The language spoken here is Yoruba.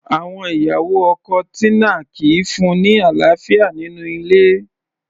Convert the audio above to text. Àwọn ìyàwó ọkọ Tina kìí fún-un ní àlàáfíà nínú ilé